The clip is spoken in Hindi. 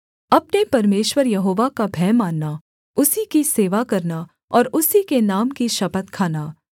अपने परमेश्वर यहोवा का भय मानना उसी की सेवा करना और उसी के नाम की शपथ खाना